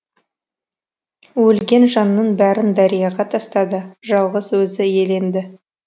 өлген жанның бәрін дарияға тастады жалғыз өзі иеленді